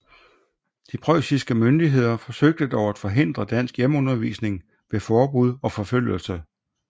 De preussiske myndigheder forsøgte dog at forhindre dansk hjemmeundervisning ved forbud og forfølgelse